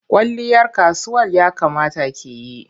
Kwalliyar kasuwal ya kamata ki yi.